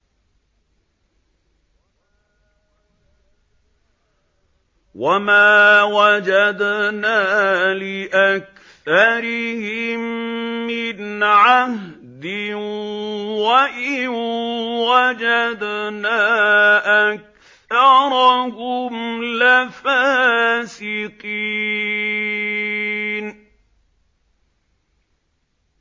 وَمَا وَجَدْنَا لِأَكْثَرِهِم مِّنْ عَهْدٍ ۖ وَإِن وَجَدْنَا أَكْثَرَهُمْ لَفَاسِقِينَ